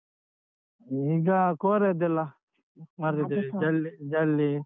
ಈಗ ಕೋರೆಯದ್ದೆಲ್ಲ ಮಾಡ್ತಿದ್ದೇವೆ ಜೆಲ್~ ಜೆಲ್ಲಿ.